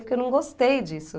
Porque eu não gostei disso.